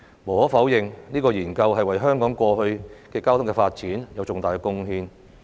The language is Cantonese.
無可否認，這項研究對香港過去的交通發展有重大貢獻。